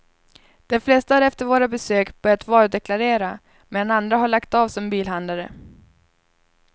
De flesta har efter våra besök börjat varudeklarera, medan andra har lagt av som bilhandlare.